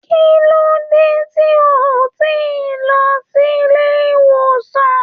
Kilode tí o tí lọ sílé ìwòsàn?